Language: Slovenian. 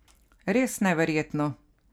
Res neverjetno.